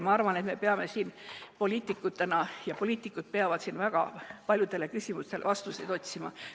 Ma arvan, et meie poliitikutena peame ja üldse poliitikud peavad väga paljudele küsimustele vastuseid otsima.